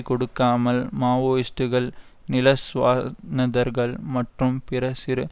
கொடுக்காமல் மாவோயிஸ்ட்டுக்கள் நில சுவா னதார்கள் மற்றும் பிற சிறு